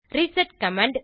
reset command